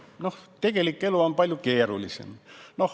No tegelik elu on palju keerulisem.